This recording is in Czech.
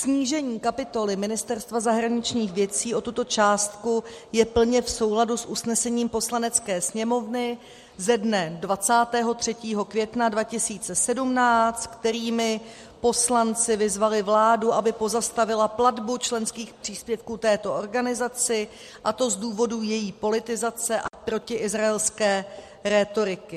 Snížení kapitoly Ministerstva zahraničních věcí o tuto částku je plně v souladu s usnesením Poslanecké sněmovny ze dne 23. května 2017, kterými poslanci vyzvali vládu, aby pozastavila platbu členských příspěvků této organizaci, a to z důvodu její politizace a protiizraelské rétoriky.